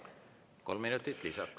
Kolm minutit lisaks.